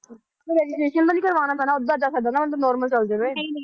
ਕੋਈ registration ਤਾਂ ਨੀ ਕਰਵਾਉਣਾ ਪੈਣਾ normal ਚਲੇ ਜਾਵਾ।